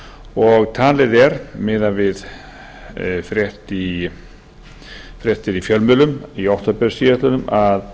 og talið er miðað við fréttir í fjölmiðlum í október síðastliðinn að